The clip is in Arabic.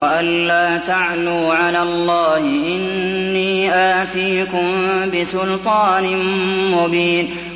وَأَن لَّا تَعْلُوا عَلَى اللَّهِ ۖ إِنِّي آتِيكُم بِسُلْطَانٍ مُّبِينٍ